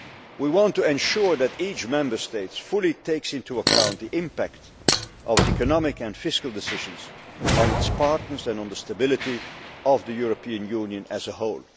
We want to ensure that each Member State fully takes into account the impact of economic and fiscal decisions on its partners and on the stability of the European Union as a whole.